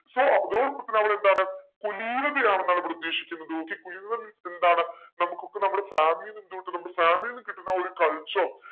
so നമ്മളെന്താണ് കുലീനതയാണ് നമ്മൾ പ്രതീക്ഷിക്കുന്നത് okay കുലീനത means എന്താണ് നമുക്കൊക്കെ നമ്മളെ നമ്മൾ കേട്ടിട്ടുണ്ടാവും ഒരു culture